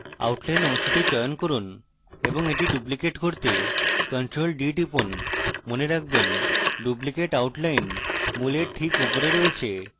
outline অংশটি চয়ন করুন এবং এটি duplicate করতে ctrl + d টিপুন মনে রাখবেন duplicate outline মূলের ঠিক উপরে রয়েছে